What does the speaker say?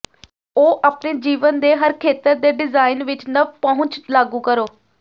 ਉਹ ਆਪਣੇ ਜੀਵਨ ਦੇ ਹਰ ਖੇਤਰ ਦੇ ਡਿਜ਼ਾਇਨ ਵਿੱਚ ਨਵ ਪਹੁੰਚ ਲਾਗੂ ਕਰੋ